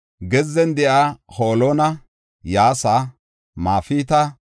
“Gezzen de7iya Holona, Yaasa, Mefaata,